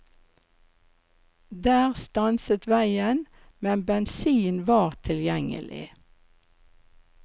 Der stanset veien, men bensin var tilgjengelig.